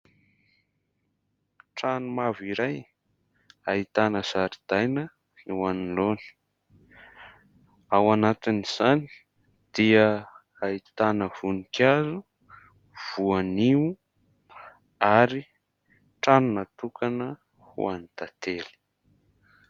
Trano mavo iray ahitana zaridaina eo anoloany, ao anatin'izany dia ahitana voninkazo, voanio ary trano natokana ho any tantely.